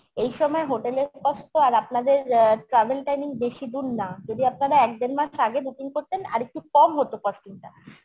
এই সময় hotel এর price তো আর আপনাদের অ্যা travel timing বেশি দূর না যদি আপনারা এক দেড় মাস আগে booking করতেন আরেকটু কম হতো costing টা